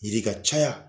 Yiri ka caya